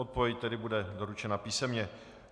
Odpověď tedy bude doručena písemně.